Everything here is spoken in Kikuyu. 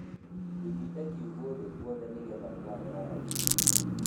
Thimida kiugũ thĩ gwothe nĩgetha gũgathera raithi.